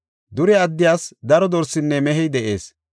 Dure addiyas daro dorsinne mehey de7ees.